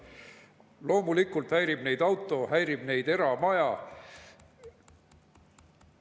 Loomulikult häirib neid auto, häirib eramaja.